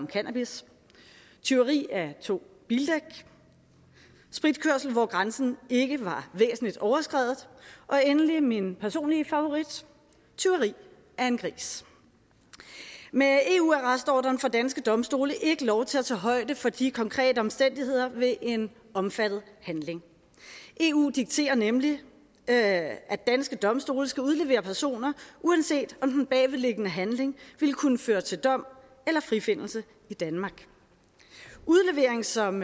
cannabis tyveri af to bildæk spritkørsel hvor grænsen ikke var væsentligt overskredet og endelig min personlige favorit tyveri af en gris med eu arrestordren får danske domstole ikke lov til at tage højde for de konkrete omstændigheder ved en omfattet handling eu dikterer nemlig at at danske domstole skal udlevere personer uanset om den bagvedliggende handling ville kunne føre til dom eller frifindelse i danmark udlevering som